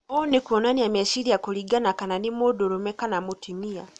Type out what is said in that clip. ũũ nĩ kuonania meciria kũringana kana nĩ mũndũrũme kana mũtumia.